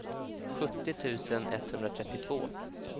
sjuttio tusen etthundratrettiotvå